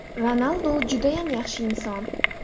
Ronaldu judayam yaxshi inson.